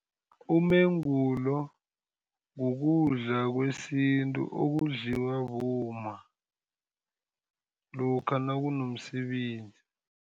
Umengulo kukudla kwesintu, okudliwa bomma lokha nakunomsebenzi.